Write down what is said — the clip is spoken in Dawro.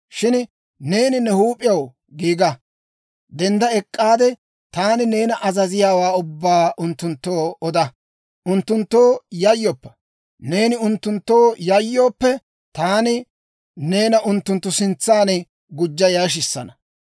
«Shin neeni ne huup'iyaw giiga! Dendda ek'k'aade, taani neena azaziyaawaa ubbaa unttunttoo oda. Unttunttoo yayyoppa. Neeni unttunttoo yayyooppe, taani neena unttunttu sintsan gujja yashissana.